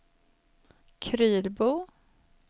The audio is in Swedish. Krylbo